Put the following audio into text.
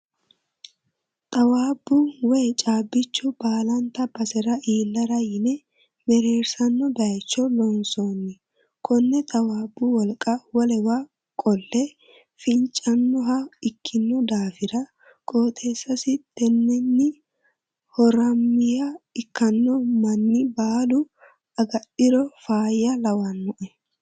Xawaabbu woyi caabbichu baallante basera iillara yine mereesano bayicho loonsonni kone xawabbu wolqa wolewa qole fincanoha ikkino daafira qooxeessasi tenenni horameye ikkanno manni baalu agadhiro faayya lawanoe.